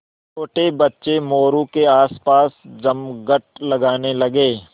छोटे बच्चे मोरू के आसपास जमघट लगाने लगे